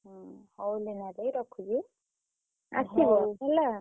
ହୁଁ ହଉ ଲିନା ଦେଇ ରଖୁଛି ଆସିବ ହେଲା।